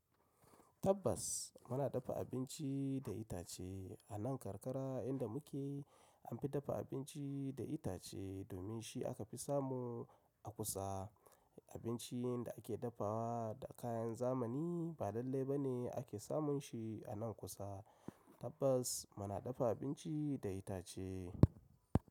Tabbas muna dafa abinci da itace a nan karkara inda muke, an fi dafa abinci da itace domin shi aka fi samu a kusa. Abincin da ake dafawa da kayan zamani, ba lallai ba ne ake samun shi a nan kusa. Tabbas muna dafa abinci da itace.